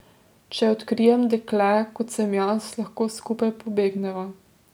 Če odkrijem dekle, kot sem jaz, lahko skupaj pobegneva.